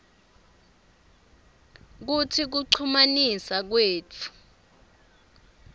kutsi kuchumanisa kwetfu